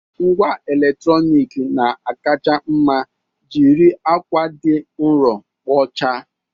Ngwa eletrọnịkị na-akacha mma jiri akwa dị nro kpochaa